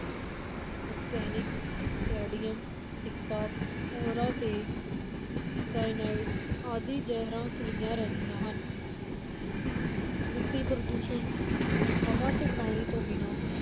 ਰਸਾਇਣਿਕ, ਕੈਡੀਅਮ ਸਿੱਕਾ, ਪਾਰਾ ਤੇ ਸਾਇਆਨਾਈਡ ਆਦਿ ਜ਼ਹਿਰਾਂ ਘੁਲੀਆਂ ਰਹਿੰਦੀਆਂ ਹਨ ਮਿੱਟੀ ਪ੍ਰਦੂਸ਼ਣ, ਹਵਾ ਤੇ ਪਾਣੀ ਤੋਂ ਬਿਨਾਂ